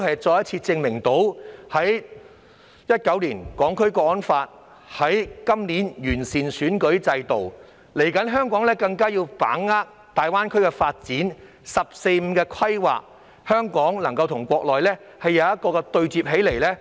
在2019年實施《香港國安法》及今年完善選舉制度後，香港更加要把握粵港澳大灣區的發展及"十四五"規劃，以期與內地對接。